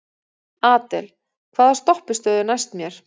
Adel, hvaða stoppistöð er næst mér?